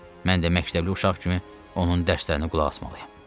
Mən də məktəbli uşaq kimi onun dərslərinə qulaq asmalıyam.